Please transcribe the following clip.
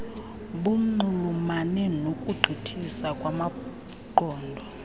bunxulumane nokugqithisa kwamaqondo